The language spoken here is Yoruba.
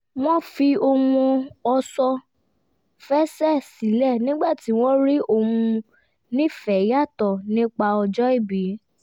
wọ́n fi ohun ọ̀ṣọ́ fẹ́ ṣe sílẹ̀ nígbà tí wọ́n rí ohun nífẹ̀ẹ́ yàtọ̀ nípa ọjọ́ ìbí